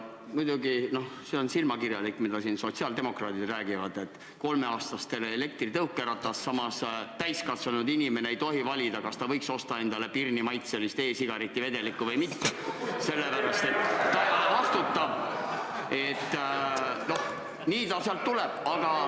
Muidugi see on silmakirjalik, mida siin sotsiaaldemokraadid räägivad: kolmeaastastele elektritõukeratas, samas täiskasvanud inimene ei tohi valida, kas ta võib osta endale pirnimaitselist e-sigareti vedelikku või mitte.